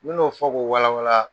N mi n'o fɔ k'o wala wala